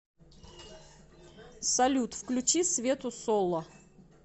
салют включи свету солла